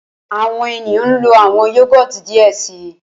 Awọn eniyan nlo awọn Yogurt diẹ sii